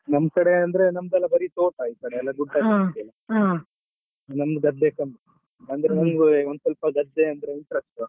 ಈ ನಮ್ಕಡೆ ಅಂದ್ರೆ ನಮ್ದೆಲ್ಲ ಬರಿ ತೋಟಾ ಈ ಕಡೆ ಎಲ್ಲಾ ಗುಡ್ಡ ಜಾಸ್ತಿ ಅಲ್ಲ ನಮ್ದು ಗದ್ದೆ ಕಮ್ಮಿ ಅಂದ್ರೆ ಒಂದು ಸ್ವಲ್ಪ ಗದ್ದೆ ಅಂದ್ರೆ interest .